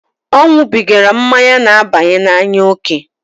O nwubigara mmanya n'abanye n'anya oke.